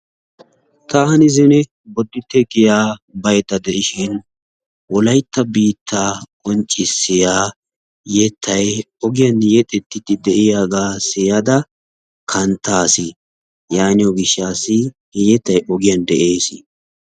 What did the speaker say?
taani zine boditte giyaa baydda de'ishin wolaytta biitta qonccissiya eyttaay ogiyan yexxetiide de'iyaaga siyyada kanttaas. yaaniyo gishshaw yettay ogiyaan de'ees.